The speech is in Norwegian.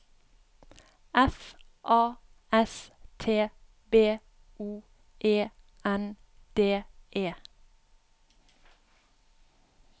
F A S T B O E N D E